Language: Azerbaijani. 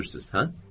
Gülürsüz, hə?